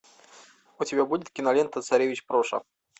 у тебя будет кинолента царевич проша